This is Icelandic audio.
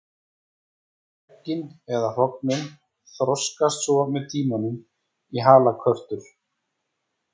Eggin eða hrognin þroskast svo með tímanum í halakörtur.